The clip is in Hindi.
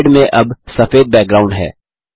स्लाइड में अब सफेद बैकग्राउंड है